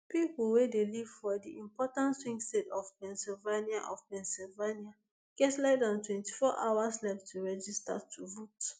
pipo wey dey live for di important swing state of pennsylvania of pennsylvania get less dan twenty-four hours left to register to vote